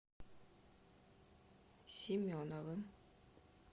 семеновым